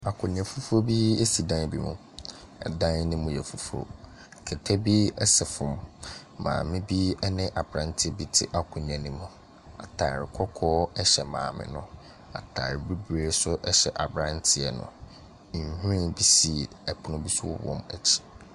Akonnwa fufuo bi si dan bi mu, dan ne mu yɛ fufuo, kɛtɛ bi sɛ fam, maame bi ne aberanteɛ bi te akonnwa ne mu, ataare kɔkɔɔ hyɛ maame no, ataare bibire nso hyɛ aberanteɛ no. Nhwiren bi si pono bi so wɔ wɔn akyi.